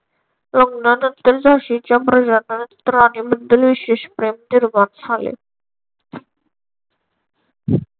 लग्नानंतर झाशीच्या प्रजाजनांत राणीबद्दल विशेष प्रेम निर्माण झाले.